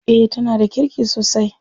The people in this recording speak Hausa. Eh tana da kirki sosai.